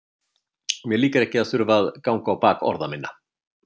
Mér líkar ekki að þurfa að ganga á bak orða minna.